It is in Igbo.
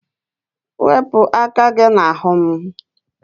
Wepụ aka gị n'ahụ m!